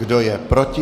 Kdo je proti?